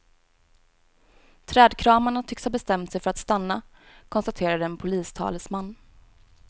Trädkramarna tycks ha bestämt sig för att stanna, konstaterade en polistalesman.